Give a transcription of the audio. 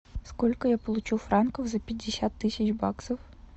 сколько я получу франков за пятьдесят тысяч баксов